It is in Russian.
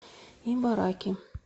ибараки